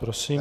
Prosím.